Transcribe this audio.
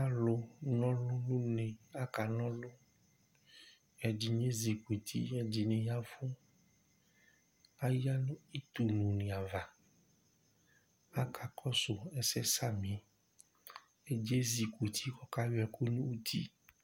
alò n'ɔlu n'une aka n'ɔlu ɛdini ezi kuti ɛdini ya vu aya no itu lu ni ava aka kɔsu ɛsɛ sami ɛdi ezi kuti k'ɔka yɔ ɛkò n'uti